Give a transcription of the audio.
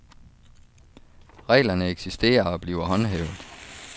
Reglerne eksisterer og bliver håndhævet.